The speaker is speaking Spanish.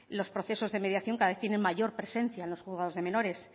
los procesos de mediación cada vez tienen mayor presencia en los juzgados de menores